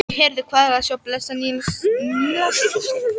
Nei, heyrðu, hvað er að sjá blessað Nílarsefið!